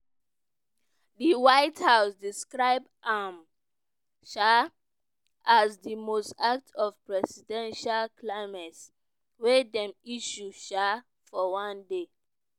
di white house describe am um as di most act of presidential clemency wey dem issue um for one day.